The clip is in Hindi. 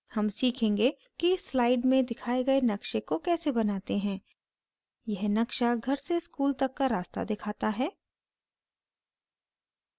हम सीखेंगे कि इस slide में दिखाए गए नक़्शे को कैसे बनाते हैं यह नक्शा घर से school तक का रास्ता दिखाता है